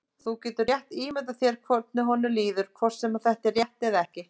Þú getur rétt ímyndað þér hvernig honum líður, hvort sem þetta er rétt eða ekki.